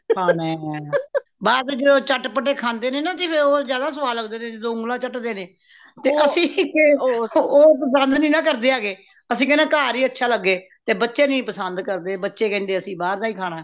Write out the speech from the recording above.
ਖਾਣਾ ਬਾਹਰ ਦੇ ਜਦੋ ਚਟ ਪਟੇ ਖਾਂਦੇ ਨੈਣਾ ਜਿਵੇ ਉਹ ਜਾਂਦਾ ਸਵਾਦ ਲੱਗਦੇ ਨੇ ਜਦੋ ਉਂਗਲਾਂ ਚੱਟਦੇ ਨੇ ਤੇ ਅਸੀਂ ਉਹ ਪਸੰਦ ਨਹੀਨਾ ਕਰਦੇ ਹੈਂਗੇ ਅਸੀਂ ਕੇਂਦੇ ਘਾਰ ਹੀ ਅੱਛਾ ਲਗੇ ਤੇ ਬੱਚੇ ਨਹੀਂ ਪਸੰਦ ਕਰਦੇ ਬੱਚੇ ਕੇਂਦੇ ਅਸੀਂ ਬਾਹਰ ਦਾ ਹੀ ਖਾਣਾ